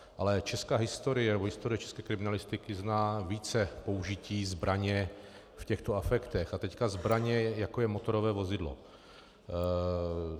Ale česká historie, nebo historie české kriminalistiky zná více použití zbraně v těchto afektech - a teď zbraně, jako je motorové vozidlo.